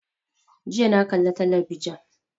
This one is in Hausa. Jiya na kalla talabijan